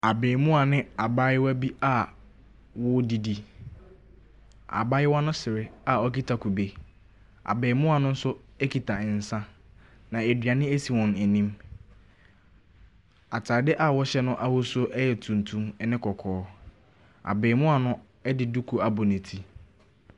Abaamua ne abaayewa bi a wɔɔdidi, abaayewa no sere a ɔkita kube, abaamua no so ekita nsa na aduane esi wɔn anim. Ataade a wɔhyɛ no ahosuo ɛyɛ tuntum ɛne kɔkɔɔ, abaamua no ɛde duku abɔ ne ti.